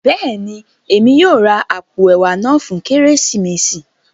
Béèni, Èmi yóò rà apó ẹwà náà fún Kérésìmesì